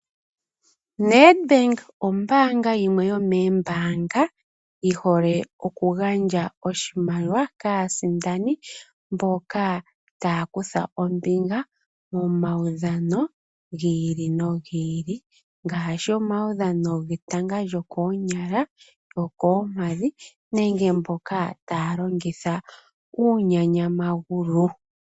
Netbank oombaanga yimwe yomoombaanga yi hole oku gandja oshimaliwa kaasindani mboka taya kutha ombinga momaudhano gi ili no gi ili, ngaashi omaudhano getanga lyokoonyala, lyokoompadhi nenge mboka taya longitha uuthanguthangu.